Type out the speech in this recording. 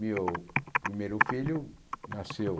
Meu primeiro filho nasceu